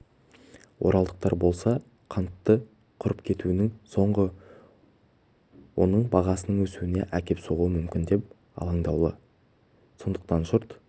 оралдықтар болса қанттың құрып кетуінің соңы оның бағасының өсуіне әкеп соғуы мүмкін деп алаңдаулы сондықтан жұрт